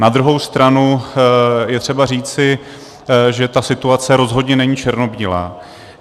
Na druhou stranu je třeba říci, že ta situace rozhodně není černobílá.